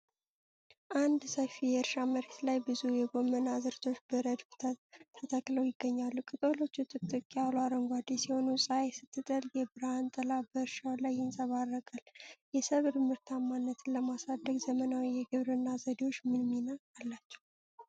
አንድ ሰፊ የእርሻ መሬት ላይ ብዙ የጎመን አዝርዕቶች በረድፍ ተተክለው ይገኛሉ። ቅጠሎቹ ጥቅጥቅ ያሉ አረንጓዴ ሲሆኑ፣ ፀሐይ ስትጠልቅ የብርሃን ጥላ በእርሻው ላይ ይንጸባረቃል። የሰብል ምርታማነትን ለማሳደግ ዘመናዊ የግብርና ዘዴዎች ምን ሚና አላቸው?